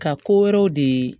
Ka ko wɛrɛw de